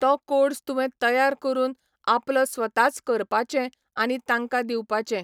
तो कोड्स तुवें तयार करून आपलो स्वताच करपाचे आनी तांकां दिवपाचे.